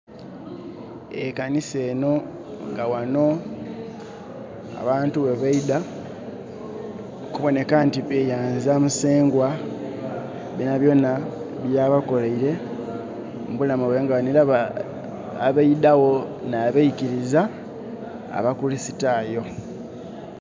E kanisa eno nga ghano, abantu ghebaidha, okuboneka nti beyanza Musengwa, byona byona byabakoleire mu bulamu bwaibwe. Nga bano era, abaidha gho n'abaikiriza abakuristayo.